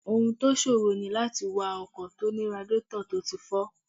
Ohun tó ṣòro ní láti wa ọkọ̀ tó ní radiétọ̀ tó ti fọ́